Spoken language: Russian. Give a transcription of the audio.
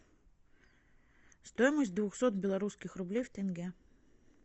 стоимость двухсот белорусских рублей в тенге